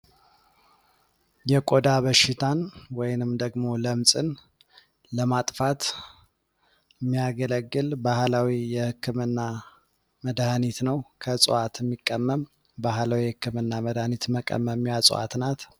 የቆዳ በሺታን ወይንም ደግሞ ለምፅን ለማጥፋት የሚያገለግል ባህላዊ የሕክምና መድህኒት ነው። ከእፅዋዋት የሚቀመም ባህላዊ የሕክምና መዳሃኒት መቀመሚያ እጽዋት ናት።